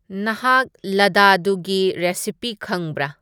ꯅꯍꯥꯛ ꯂꯗꯗꯨꯒꯤ ꯔꯦꯁꯤꯄꯤ ꯈꯪꯕ꯭ꯔꯥ